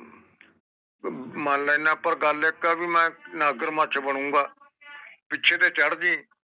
ਮ ਮਨ ਲੈਣਾ ਆ ਪਰ ਗੱਲ ਇਕ ਏ ਭਾਈ ਮੈਂ ਨਗਰ ਮੱਚ ਬਣੂਗਾ ਪਿੱਛੇ ਦੇ ਚੜ੍ਹਦੀ